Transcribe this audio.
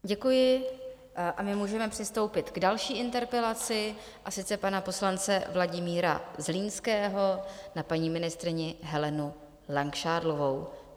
Děkuji a my můžeme přistoupit k další interpelaci, a sice pana poslance Vladimíra Zlínského na paní ministryni Helenu Langšádlovou.